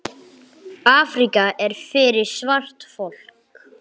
Afríka er fyrir svart fólk.